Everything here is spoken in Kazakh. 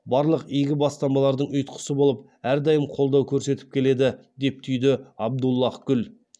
барлық игі бастамалардың ұйытқысы болып әрдайым қолдау көрсетіп келеді деп түйді абдуллаһ гүл